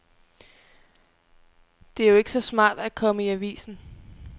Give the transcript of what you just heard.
Det er jo ikke så smart at komme i avisen.